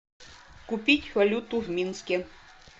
купить валюту в минске